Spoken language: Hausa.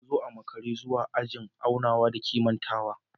Na zo a makara zuwa ajin aunawa da kimantawa